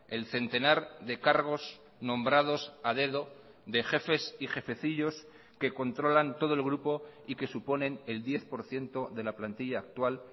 el centenar de cargos nombrados a dedo de jefes y jefecillos que controlan todo el grupo y que suponen el diez por ciento de la plantilla actual